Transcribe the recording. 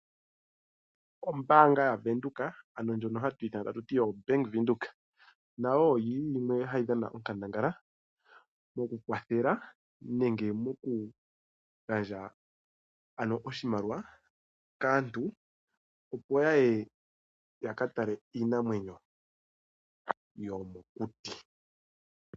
Ombaanga yaVenduka ndjono hatu ithana ta tuti obank Windhoek nayo ohayi dhana onkandangala mokukwathela nenge moku gandja oshimaliwa kaantu, opo yaye yakatale iinamwenyo yomokuti.